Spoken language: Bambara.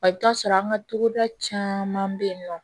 I bɛ t'a sɔrɔ an ka togoda caman bɛ yen nɔ